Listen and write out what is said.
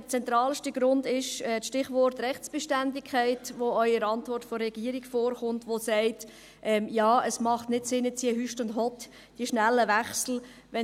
Der zentralste Grund – Stichwort «Rechtsbeständigkeit» –, welcher auch in der Antwort der Regierung vorkommt, sagt ja, ein Hott und Hüst, schnelle Wechsel machten hier keinen Sinn.